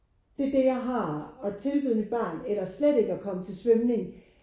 Det er det jeg har at tilbyde mit barn eller slet at komme til svømning